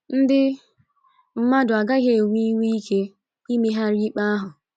Ndị mmadụ agaghị enwe inwe ike imegharị ikpe ahụ.